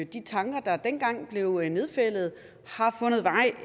de tanker der dengang blev nedfældet har fundet vej